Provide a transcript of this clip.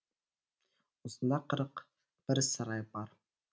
осында қырық бір сарай бар